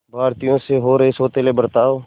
भारतीयों से हो रहे सौतेले बर्ताव